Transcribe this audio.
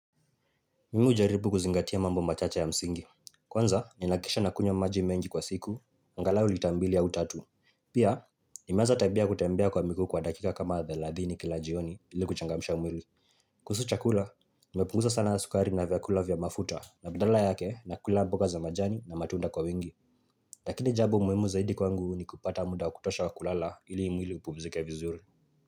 Mimu hujaribu kuzingatia mambo machache ya msingi. Kwanza, ninahakisha nakunywa maji mengi kwa siku, angalau lita mbili au tatu. Pia, nimeanza tabia ya kutembea kwa miguu kwa dakika kama thelathini kila jioni ili kuchangamisha mwili. Kuhusu chakula, nimepungusa sana sukari na vyakula vya mafuta na badala yake nakula mboga za majani na matunda kwa wingi. Lakini jambo muhimu zaidi kwangu ni kupata muda wa kutosha wa kulala ili mwili upumzike vizuri.